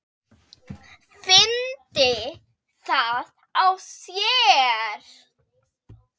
Fyndi það á sér.